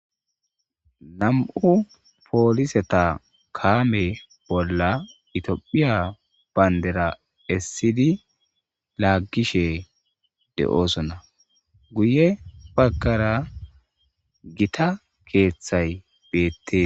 nam"u pooliseta kaame bolla Itophiya bayndira essidi laaggishe de'oosona. guye baggara gita keeththay beettes.